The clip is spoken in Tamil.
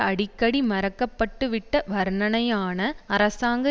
அடிக்கடி மறக்கப்பட்டுவிட்ட வர்ணனையான அரசாங்க